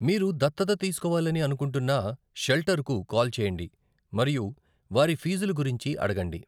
మీరు దత్తత తీసుకోవాలని అనుకుంటున్న షెల్టర్‌కు కాల్ చేయండి మరియు వారి ఫీజుల గురించి అడగండి.